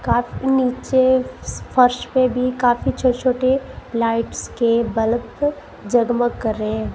नीचे फर्श पे भी काफी छोटे छोटे लाइट्स के बल्ब जगमग कर रहे हैं।